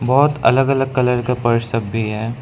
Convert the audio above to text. बहोत अलग अलग कलर का पर्स सब भी है।